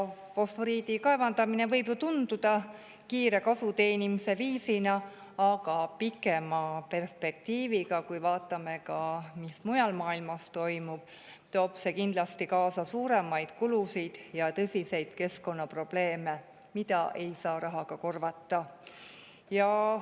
Fosforiidi kaevandamine võib ju tunduda kiire kasuteenimise viisina, aga pikemas perspektiivis, kui vaatame ka seda, mis mujal maailmas toimub, toob see kindlasti kaasa suuremaid kulusid ja tõsiseid keskkonnaprobleeme, mida ei saa rahaga korvata.